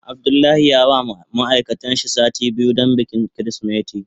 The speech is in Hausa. Abdullahi ya ba ma ma'aikatan shi small biyu don bikin kirisimeti.